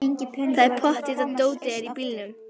Það er pottþétt að dótið er í bílnum!